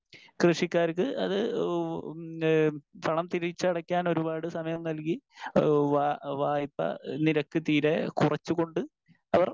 speaker 1 കൃഷിക്കാർക്ക് അത് ഏഹ് ഉം പണം തിരിച്ചടയ്ക്കാൻ ഒരുപാട് സമയം നൽകി ഏഹ് വാ വായ്പാ നിരക്ക് തീരെ കുറച്ചുകൊണ്ട് അവർ